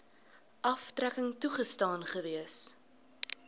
aftrekking toegestaan gewees